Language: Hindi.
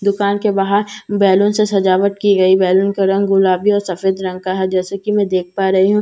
दुकान के बाहर बेलून से सजावट की गई बेलून का रंग गुलाबी और सफेद है जैसे कि मैं देख पा रही हूं यहां पर दो टो--